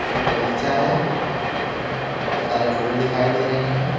एक बगीचा है जिसमें बहोत सारे फूल दिखाई दे रहे हैं।